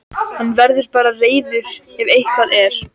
Hann verður bara reiður ef eitthvað er.